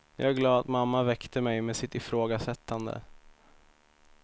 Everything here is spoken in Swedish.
Jag är glad att mamma väckte mig, med sitt ifrågasättande.